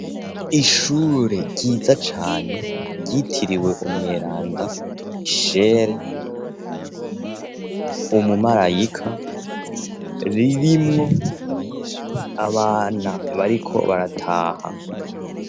ishure ryiza cane ryitiriwe Umweranda Mishere Umumarayika ririmwo abana bariko barataha.